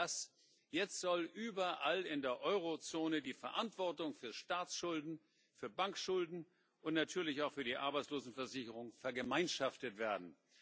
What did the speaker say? Und nicht nur das Jetzt soll überall in der Eurozone die Verantwortung für Staatsschulden, für Bankschulden und natürlich auch für die Arbeitslosenversicherung vergemeinschaftet werden.